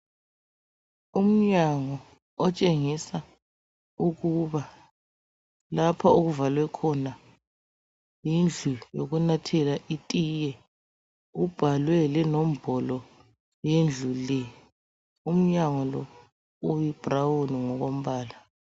Umnyango otshengisa ukuba lapha okuvalwekhona yindlu yokunathela itiye. Kubhalwe lenombolo yendlu le. Umnyango lo uyibrown ngokombala.